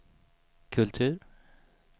kultur